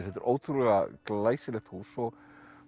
þetta er ótrúlega glæsilegt hús og